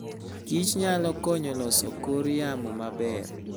kich nyalo konyo loso kor yamo maber.